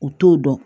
U t'o dɔn